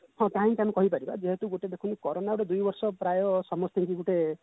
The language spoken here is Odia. ତାକୁ କହି ପାରିବା କାରୋନା ର ଦୁଇ ବର୍ଷ ପୁରା ସମସ୍ତିଙ୍କୁ ଗୋଟେ